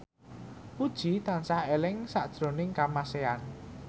Puji tansah eling sakjroning Kamasean